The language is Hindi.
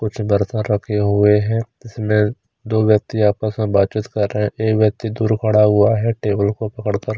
कुछ बर्तन रखे हुए हैं जिसमें दो व्यक्ति आपस में बातचीत कर रहे एक व्यक्ति दूर खडा हुआ है टेबल को पकड़कर।